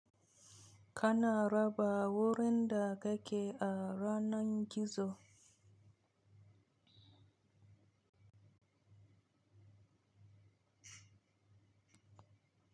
Kana raba wurin da ka ke a yanar gizo?